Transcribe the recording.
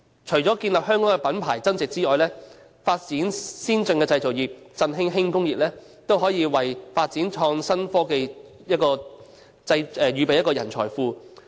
除了建立香港的品牌增值外，發展先進的製造業以振興本地輕工業，都可以為發展創新科技預備一個人才庫。